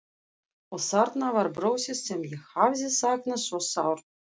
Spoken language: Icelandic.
Og þarna var brosið sem ég hafði saknað svo sárt.